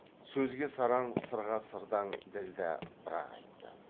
сөзге сараң сырға сырдаң ділдә бір ақ айтты